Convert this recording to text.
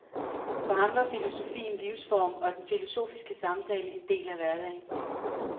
For ham var filosofi en livsform og den filosofiske samtale en del af hverdagen.